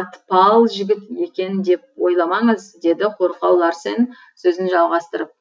атпал жігіт екен деп ойламаңыз деді қорқау ларсен сөзін жалғастырып